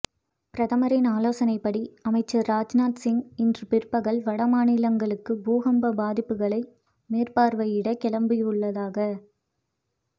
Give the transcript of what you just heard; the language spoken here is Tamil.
பிரதமரின் ஆலோசனைப்படி அமைச்சர் ராஜ்நாத் சிங் இன்று பிற்பகல் வட மாநிலங்களுக்கு பூகம்ப பாதிப்புகளை மேற்பார்வையிட கிளம்பவுள்ளதாக